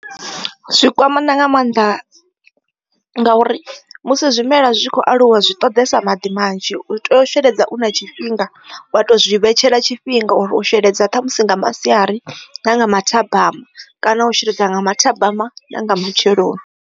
Zwikwamana nga maanḓa ngauri musi zwimela zwi khou aluwa zwi ṱoḓesa maḓi manzhi u tea u sheledza u na tshifhinga wa to zwi vhetshela tshifhinga uri u sheledza ṱhamusi nga masiari na nga mathabama kana u sheledza nga mathabama na nga matsheloni.